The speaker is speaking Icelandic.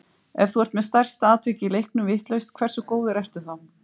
Ef þú ert með stærsta atvikið í leiknum vitlaust, hversu góður ertu þá?